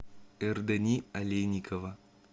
эрдэни олейникова